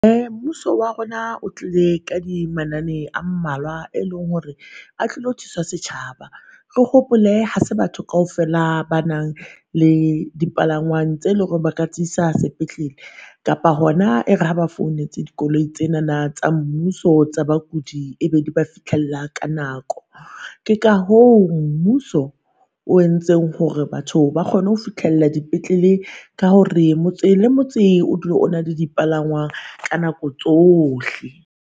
Uh mmuso wa rona o tlile ka di manane a mmalwa, e leng hore a tlilo thusa setjhaba. Re hopole ha se batho kaofela ba nang le dipalangwang tse leng hore ba ka tsisa sepetlele, kapa hona e re ha ba founetse dikoloi tsenana tsa mmuso tsa bakudi e be di ba fihlella ka nako. Ke ka hoo mmuso o entseng hore batho ba kgone ho fihlella dipetlele ka hore motse le motse o dula o na le dipalangwang ka nako tsohle.